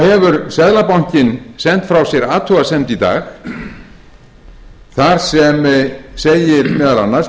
hefur seðlabankinn sent frá sér athugasemd í dag þar sem segir meðal annars með